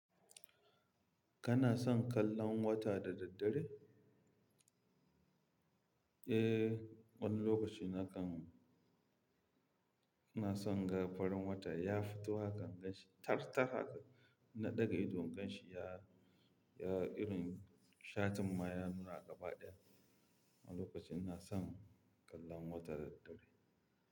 Kana son kallon wata da daddare? Eh, wani lokaci na kan, ina son in ga farin wata, ya fito haka in ganshi, tar-tar haka. Inna ɗaga idon in ganshi ya, ya irin shatin ma ya nuna gaba ɗaya. Wani lokaci ina son kallon wata da daddare.